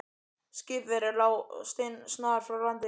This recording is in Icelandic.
Skip þeirra lá steinsnar frá landi.